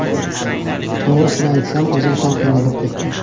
To‘g‘risini aytsam, o‘zim ham qiynalib ketdim.